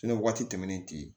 Fɛnɛ waati tɛmɛnen tɛ yen